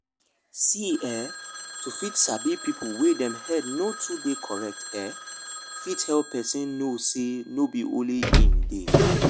see eh to fit sabi people wey dem head no too dey correct ehh fit help person know say no be only e dey